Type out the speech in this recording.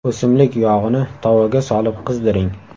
O‘simlik yog‘ini tovaga solib qizdiring.